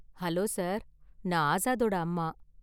Hello sir, நான் ஆஸாதோட அம்மா.